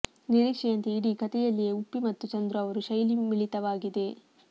ನಿರೀಕ್ಷೆಯಂತೆಯೇ ಇಡೀ ಕಥೆಯಲ್ಲಿಯೇ ಉಪ್ಪಿ ಮತ್ತು ಚಂದ್ರು ಅವರ ಶೈಲಿ ಮಿಳಿತವಾಗಿದೆ